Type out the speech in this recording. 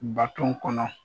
Baton kɔnɔ